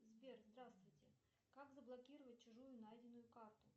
сбер здравствуйте как заблокировать чужую найденную карту